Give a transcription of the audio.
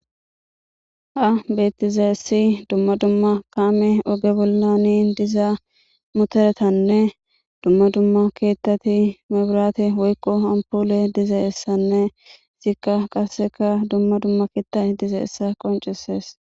Ha beettizaessi dumma dumma kaame oge bollani dizaa muteretanne dumma dumma keettati mebiraate woykko ampole diza essanne zikka qaseka dumma dumma keettat diza essa qoncisees